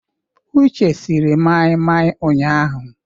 Uche siri mai-mai ụnyahụ.